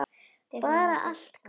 Bara allt gott, sagði mamma.